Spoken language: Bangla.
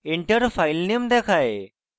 enter filename দেখায়